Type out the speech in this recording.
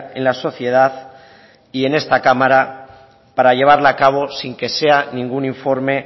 en la sociedad y en esta cámara para llevarla a cabo sin que sea ningún informe